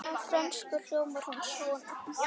Á frönsku hljómar hún svona